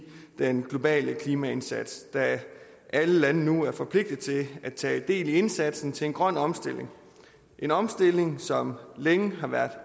den globale klimaindsats da alle lande nu er forpligtet til at tage del i indsatsen til en grøn omstilling en omstilling som længe har været